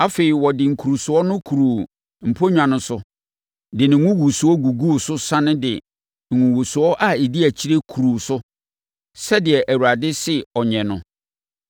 Afei, ɔde nkurusoɔ no kuruu mponnwa no so de ne ngugusoɔ guguu so sane de ngugusoɔ a ɛdi akyire kuruu so sɛdeɛ Awurade se ɔnyɛ no.